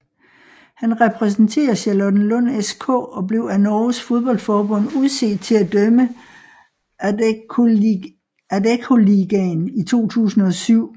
Han repræsenterer Charlottenlund SK og blev af Norges fodboldforbund udset til at dømme Adeccoligaen i 2007